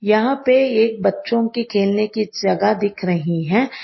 यहां पे एक बच्चों की खेलने की जगह दिख रही है।